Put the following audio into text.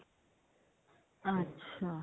ਅੱਛਾ